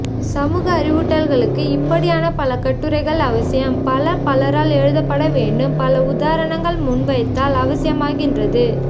சமூக அறிவூட்டல்களுக்கு இப்படியான பல கட்டுரைகள் அவசியம் பல பலரால் எழுதப்படவேண்டும் பல உதாரணங்கள் முன்வைத்தல் அவசியமாகின்றது